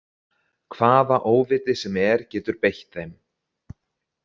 Hvaða óviti sem er getur beitt þeim.